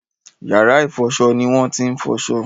Yàrá-ìfọṣọ ni wọ́n ti ń fọṣọ.